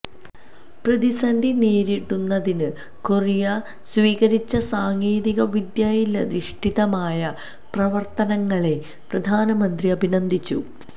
പ്രതിസന്ധി നേരിടുന്നതിന് കൊറിയ സ്വീകരിച്ച സാങ്കേതികവിദ്യയിലധിഷ്ഠിതമായ പ്രവര്ത്തനങ്ങളെ പ്രധാനമന്ത്രി അഭിനന്ദിച്ചു